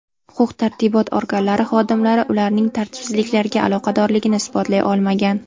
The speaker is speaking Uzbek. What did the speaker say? Huquq-tartibot organlari xodimlari ularning tartibsizliklarga aloqadorligini isbotlay olmagan.